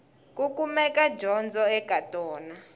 ku kumeka dyondzo eka tona